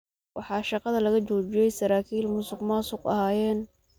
Waxaa shaqada laga joojiyey saraakiil musuqmaasuq ahayeen.